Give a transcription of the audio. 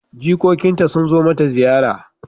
Jikokinta sun zo mata ziyara.